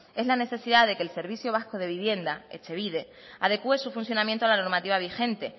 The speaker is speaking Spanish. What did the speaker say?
es la necesidad de que el servicio vasco de vivienda etxebide adecue su funcionamiento a la normativa vigente